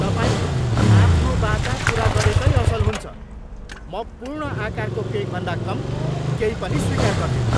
तपाईँले आफ्नो वाचा पुरा गरेकै असल हुन्छ। म पूर्ण आकारको केकभन्दा कम केही पनि स्वीकार गर्दिनँ।